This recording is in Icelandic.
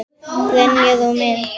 Greinar og mynd